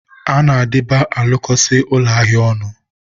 a na-adịba alụkọsị ụlọ ahịa ọnụ.